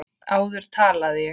Áður talaði ég.